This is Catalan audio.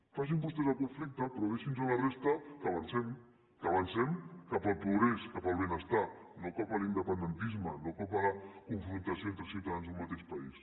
facin vostès el conflicte però deixi’ns a la resta que avancem que avancem cap al progrés cap al benestar no cap al independentisme no cap a la confrontació entre ciutadans d’un mateix país